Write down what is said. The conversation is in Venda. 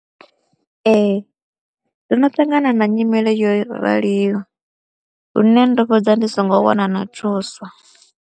Ee ndono ṱangana na nyimele yo raliho lune ndo fhedza ndi songo wana na thuso.